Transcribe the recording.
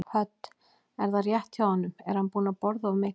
Hödd: Er það rétt hjá honum, er hann búinn að borða of mikið?